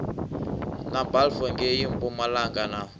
na balfour ngei mpumalanga na